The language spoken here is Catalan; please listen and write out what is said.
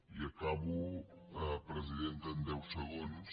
i acabo presidenta en deu segons